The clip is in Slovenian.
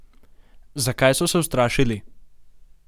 Zakaj so se ustrašili?